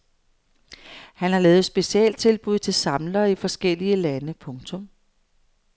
Han har lavet specialtilbud til samlere i forskellige lande. punktum